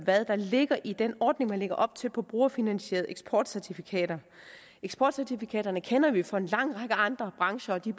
hvad der ligger i den ordning man lægger op til på brugerfinansierede eksportcertifikater eksportcertifikaterne kender vi fra en lang række andre brancher og de